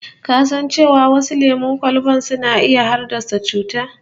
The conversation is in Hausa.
Ka san cewa wasu lemon kwalban suna iya haddasa cuta?